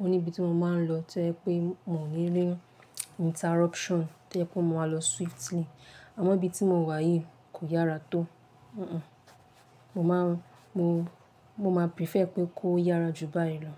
òní níbi tí mo máa ń lọ tí tojẹ pé mò ní rina interruption tí o jẹ pé o ma máa lọ swiftly, àmọ̀ ibi tí mo wà yìí kò yára tó. Mo máa prefer pé kó yára jù báyìí lọ.